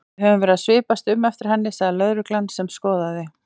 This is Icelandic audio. Við höfum verið að svipast um eftir henni sagði lögreglan sem skoðaði